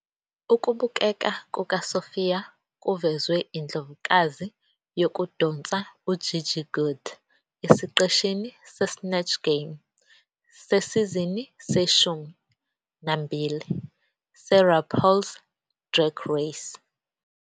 Ukubukeka kukaSophia kuvezwe indlovukazi yokudonsa uGigi Goode esiqeshini se- "Snatch Game" sesizini seshumi nambili seRuPaul's Drag Race.